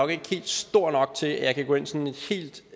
så